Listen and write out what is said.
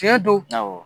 Cɛ don awɔ